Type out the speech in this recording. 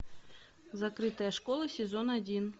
закрытая школа сезон один